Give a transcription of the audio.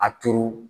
A turu